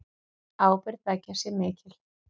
Ábyrgð beggja sé mikil.